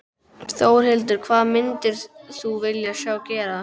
Þórhildur: Hvað myndir þú vilja sjá gerast?